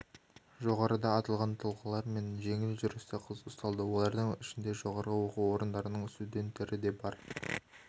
жоғарыда аталған тұлғалар мен жеңіл жүрісті қыз ұсталды олардың ішінді жоғары оқу орындарының студенттері де бар